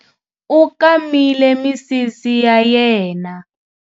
U kamile misisi ya yena.